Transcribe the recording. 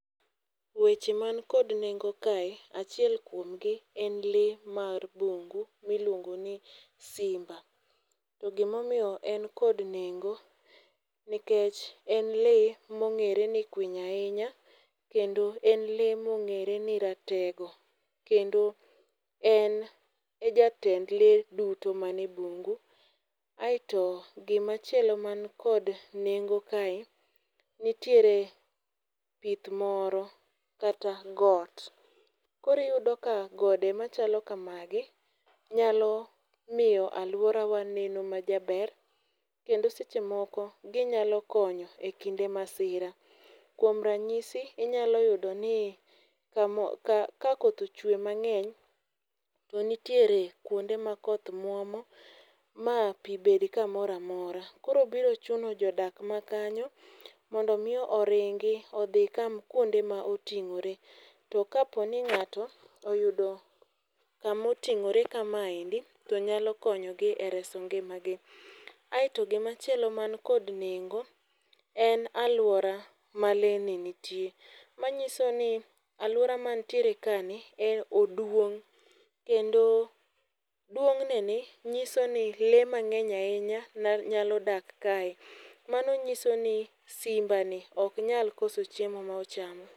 Weche man kod nengo kae achiel kuomgi en lee mar bungu miluongoni Simba. To gimo miyo en kod nengo nikech en lee mong'ere ni kwiny ahinya, kendo en lee mong'ere ni ratego. Kendo en e jatend lee duto mane bungu. Aeto gi machielo man kod nengo kae, nitiere pith moro kata got. Koro iyudo ka gode machalo kamagi, nyalo miyo alworawa neno ma jaber. Kendo seche moko ginyalo konyo e kinde masira. Kuom ranyisi inyalo yudo ni kamo ka ka koth chwe mang'eny to nitiere kuonde ma koth muomo ma pi bed kamoramora. Koro biro chuno jodak makanyo mondo miyo oringi odhi kam kuonde ma oting'ore. To kapo ning'ato oyudo kama oting'ore kamaendi to nyalo konyogi ereso ngimagi. Aeto gi machielo man kod nengo en alwora ma le ni nitie. Manyiso ni alwora mantiere ka ni, en oduong', kendo duong'ne ni nyiso ni lee mang'eny ahinya nyalo dak kae. Mano nyiso ni Simba ni ok nyal koso chiemo ma ochamo.